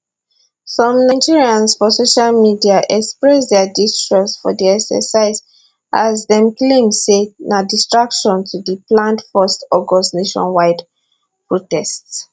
some nigerans for social media express dia distrust for di exercise as dem claim say na distraction to di planned 1 august nationwide protest